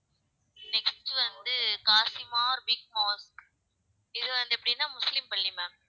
next வந்து kazimar big mosque இது வந்து எப்படின்னா முஸ்லிம் பள்ளி ma'am